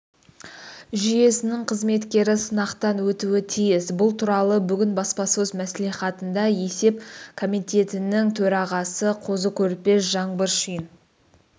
жүйесінің қызметкері сынақтан өтуі тиіс бұл туралы бүгін баспасөз мәслихатында есеп комитетінің төрағасы қозы-көрпеш жаңбыршин